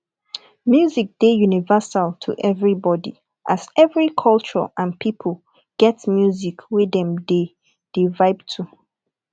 music dey universal to everybody as every culture and pipo get music wey dem dey dey vibe to